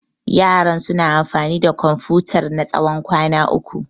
Yaran suna amfani da Komfutar na tsawon kwana uku.